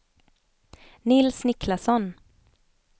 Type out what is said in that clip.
Nils Niklasson